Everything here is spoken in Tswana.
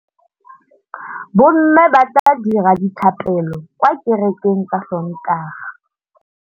Bommê ba tla dira dithapêlô kwa kerekeng ka Sontaga.